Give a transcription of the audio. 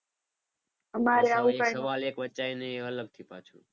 એ અલગથી પાછું.